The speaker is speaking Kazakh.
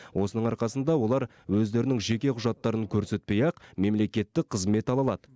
осының арқасында олар өздерінің жеке құжаттарын көрсетпей ақ мемлекеттік қызмет ала алады